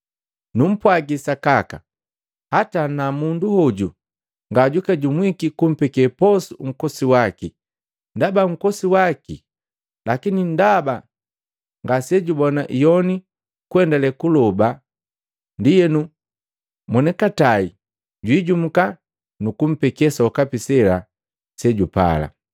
Numpwagi sakaka, hata ana mundu hoju ngajwiijumuki kumpeke posu nkosi waki ndaba nkosi waki lakini ndaba ngasejubona iyoni kuendalee kuloba, ndienu mwoni katai jwiijumuka nukumpeke sokapi sela sejupala.”